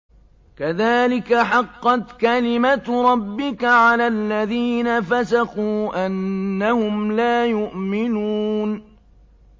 كَذَٰلِكَ حَقَّتْ كَلِمَتُ رَبِّكَ عَلَى الَّذِينَ فَسَقُوا أَنَّهُمْ لَا يُؤْمِنُونَ